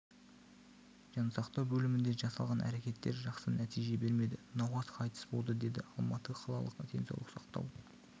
жансақтау бөлімінде жасалған әрекеттер жақсы нәтиже бермеді науқас қайтыс болды деді алматы қалалық денсаулық сақтау